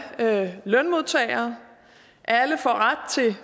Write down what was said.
lønmodtagere alle får ret til